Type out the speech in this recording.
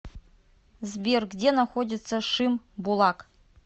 сбер где находится шимбулак